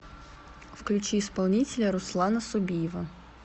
включи исполнителя руслана собиева